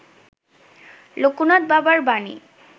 লোকনাথ বাবার বাণী